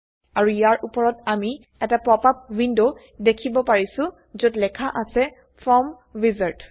আৰু ইয়াৰ উপৰত আমি এটা পপআপ উইন্ডো দেখিব পাৰিছো যত লেখা অছে ফৰ্ম উইজাৰ্ড